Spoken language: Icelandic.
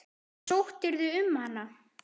En sóttirðu um hana?